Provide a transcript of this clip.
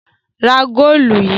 Ra góólù yìí!